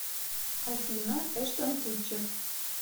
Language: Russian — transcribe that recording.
афина эштон кутчер